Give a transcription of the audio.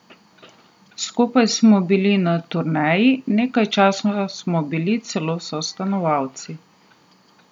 Skupaj smo bili na turneji, nekaj časa smo bili celo sostanovalci.